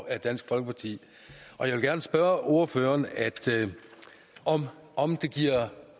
af dansk folkeparti og jeg vil gerne spørge ordføreren om